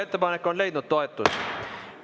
Ettepanek on leidnud toetust.